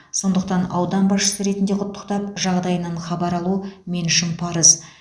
сондықтан аудан басшысы ретінде құттықтап жағдайынан хабар алу мен үшін парыз